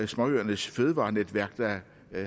småøernes fødevarenetværk der